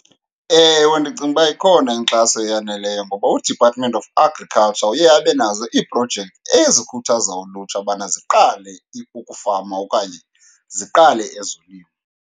Ewe, ndicinga uba ikhona inkxaso eyaneleyo ngoba uDepartment of Agriculture uye abe nazo iiprojekthi ezikhuthaza ulutsha ubana ziqale ukufama okanye ziqale ezolimo.